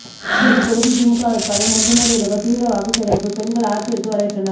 அரவக்குறிச்சி தொகுதி திமுக வேட்பாளர் மொஞ்சனூர் இளங்கோ தீவிர வாக்கு சேகரிப்பு பெண்கள் ஆரத்தி எடுத்து வரவேற்றனர்